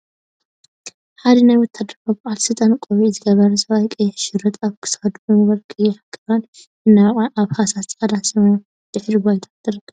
ሓደ ናይ ወታሃደራዊ በዓል ስልጣን ቆቢዕ ዝገበረ ሰብአይ ቀይሕ ሸሪጥ አብ ክሳዱ ብምግባር ቀያሕ ክራር እናወቅዐ አብ ሃሳስ ፃዕዳን ሰማያዊን ሕብሪ ድሕረ ባይታ ትርከብ፡፡